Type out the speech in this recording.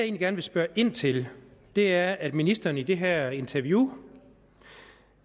gerne spørge ind til er at ministeren i det her interview